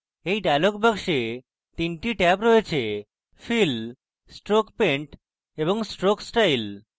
এই dialog box 3টি tab রয়েছে: fill stroke paint এবং stroke style